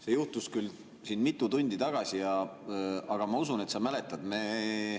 See juhtus küll mitu tundi tagasi, aga ma usun, et sa mäletad.